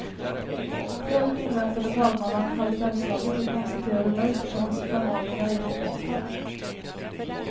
Själv inväntade talmannen halvfemslaget och konstaterade nöjt att hennes förmaningar gett resultat.